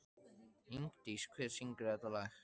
Ingdís, hver syngur þetta lag?